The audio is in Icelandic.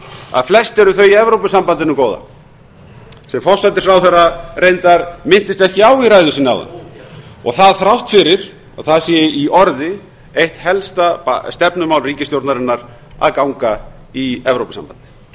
að flest eru þau í evrópusambandinu góða sem forsætisráðherra minntist reyndar ekki á í ræðu sinni áðan og það þrátt fyrir að það sé í orði eitt helsta stefnumál ríkisstjórnarinnar að ganga í evrópusambandið